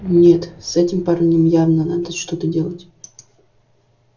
нет с этим парнем явно надо что-то делать